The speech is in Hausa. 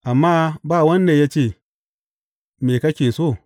Amma ba wanda ya ce, Me kake so?